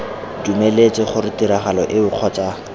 dumeletse gore tiragalo eo kgotsa